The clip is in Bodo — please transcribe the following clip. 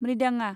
म्रिदांआ